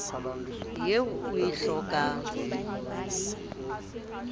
eo o e hlokang e